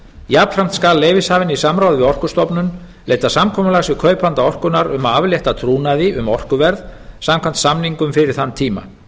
jafnframt skal leyfishafinn í samráði við orkustofnun leita samkomulags við kaupanda orkunnar um að aflétta trúnaði um orkuverð samkvæmt samningnum fyrir þann tíma